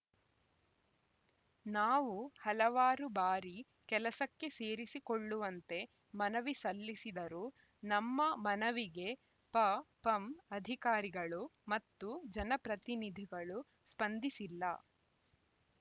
ನಾವು ಹಲವಾರು ಬಾರಿ ಕೆಲಸಕ್ಕೆ ಸೇರಿಸಿಕೊಳ್ಳುವಂತೆ ಮನವಿ ಸಲ್ಲಿಸಿದರೂ ನಮ್ಮ ಮನವಿಗೆ ಪಪಂ ಅಧಿಕಾರಿಗಳು ಮತ್ತು ಜನಪ್ರತಿನಿಧಿಗಳು ಸ್ಪಂದಿಸಿಲ್ಲ